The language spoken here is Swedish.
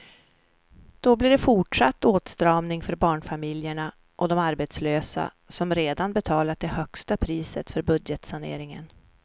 Då blir det fortsatt åtstramning för barnfamiljerna och de arbetslösa som redan betalat det högsta priset för budgetsaneringen.